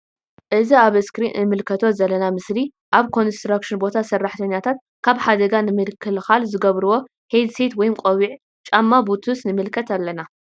እዚ ኣብ እስክሪን እንምልከቶ ዘለና ምስሊ ኣብ ኮንስትራክሽን ቦታ ሰራሕተኛታት ካብ ሓደጋ ንምክልካል ዝገብርዎ ሄድ ሴት ወይም ቆቢዕ ጫማ ቡቱስ ንምልከት ኣለና።